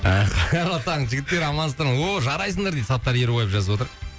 қайырлы таң жігіттер амансыңдар ма ооо жарайсыңдар дейді саттар ерубаев жазып отыр